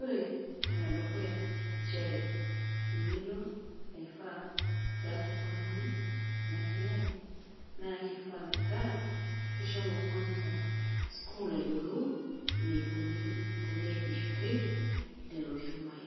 ore enedukuya inchere eng'eno ees oltungani tenenasiai naa kifaa metaa ishomo kwanza sukuul ayiolou enikoni tenesishoreki lelo shumai